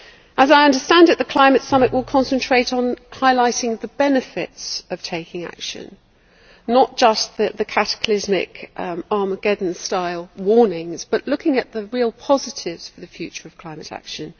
As I understand it, the climate summit will concentrate on highlighting the benefits of taking action, not just the cataclysmic Armageddon style warnings, but looking at the real positives for the future of climate action.